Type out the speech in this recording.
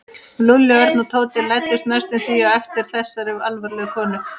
Lúlli, Örn og Tóti læddust næstum því á eftir þessari alvarlegu konu.